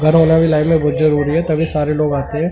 उधर वाला भी लाइनें मे तभी सारे लोग आते है ।